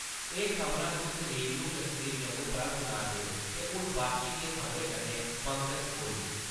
तुस रेडियो कश्मीर जम्मू परा सुना`रदे ओ ते हुन बाकी दियें खबरें कन्नै पंकज कोहली